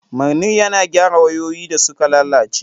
Manir yana gyara wayoyi da suka lalace.